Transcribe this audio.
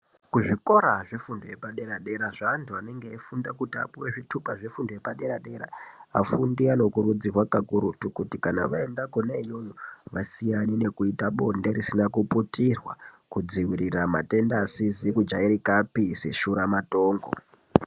Kuzvikora zvefundo yepadera dera zvevantu vanenge vachifunda kuti vapiwe zvitupa zvepadera dera. Vafundi vanokurudzirwa kuti kakurutu kuti kana vaenda kuneiyoyi vasiyane nekuita bonde risina kuputirwa kuitira kudzivirira matenda asizi kujairika apise shuramatongo.